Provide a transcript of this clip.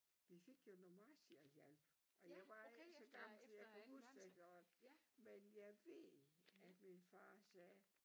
Vi fik jo noget Marshall-hjælp og jeg var ikke så gammel så jeg kan huske det godt men jeg ved at min far sagde